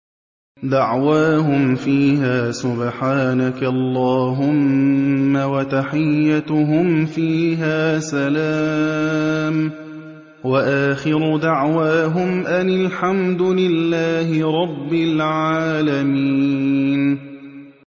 دَعْوَاهُمْ فِيهَا سُبْحَانَكَ اللَّهُمَّ وَتَحِيَّتُهُمْ فِيهَا سَلَامٌ ۚ وَآخِرُ دَعْوَاهُمْ أَنِ الْحَمْدُ لِلَّهِ رَبِّ الْعَالَمِينَ